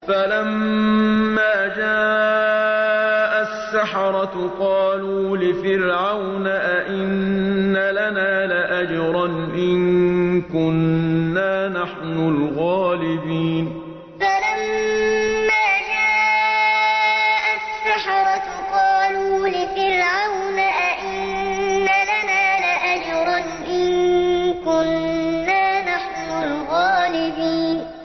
فَلَمَّا جَاءَ السَّحَرَةُ قَالُوا لِفِرْعَوْنَ أَئِنَّ لَنَا لَأَجْرًا إِن كُنَّا نَحْنُ الْغَالِبِينَ فَلَمَّا جَاءَ السَّحَرَةُ قَالُوا لِفِرْعَوْنَ أَئِنَّ لَنَا لَأَجْرًا إِن كُنَّا نَحْنُ الْغَالِبِينَ